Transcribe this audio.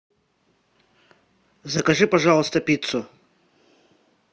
закажи пожалуйста пиццу